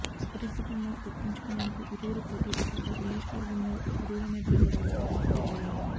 అభివృద్ది పనులు దక్కించుకునేందుకు ఇరువురు పోటీపడడంతో నియోజకవర్గంలో ఇరువురు నేతల గొడవలు మరింత పెరిగాయి